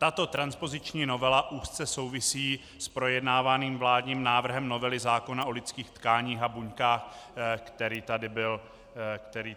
Tato transpoziční novela úzce souvisí s projednávaným vládním návrhem novely zákona o lidských tkáních a buňkách, který tady byl předtím.